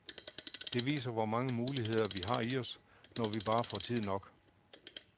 Det viser hvor mange muligheder vi har i os, når vi bare får tid nok.